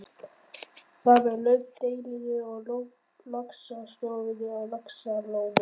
Þar með lauk deilunni um laxastofninn á Laxalóni.